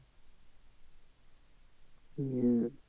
হম